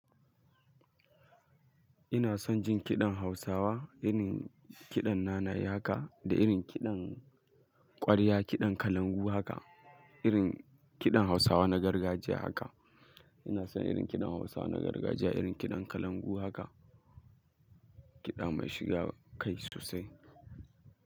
Ina son jin kiɗan Hausawa, irin kiɗan nanaye haka da irin kiɗan ƙwarya, kiɗan kalangu haka, irin kiɗan Hausawa na gargajiya haka. Ina son irin kiɗan Hausawa na gargajiya, irin kiɗan kalangu haka, kiɗa mai shiga kai sosai.